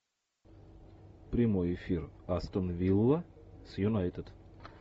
прямой эфир астон вилла с юнайтед